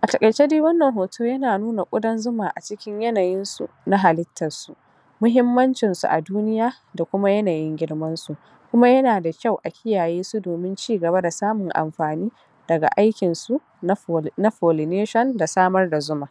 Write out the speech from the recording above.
a taƙaice dai wannan hoto yana nuna ƙudan zuma a cikin yanayin su na halittar su muhimmancin su a duniya da kuma yanayin girman su kuma yana da kyau a kiyaye su domin cigaba da samun amfani daga aikin su na pollination da samar da zuma